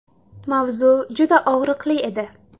Mavzu juda og‘riqli edi.